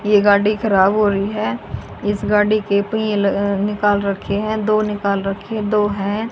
ये गाड़ी खराब हो रही है। इस गाड़ी के पहिए निकाल रखे हैं। दो निकाल रखे दो है।